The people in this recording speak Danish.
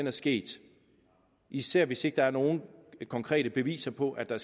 er sket især hvis der ikke er nogen konkrete beviser på at der